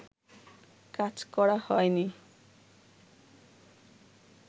কাজ করা হয়নি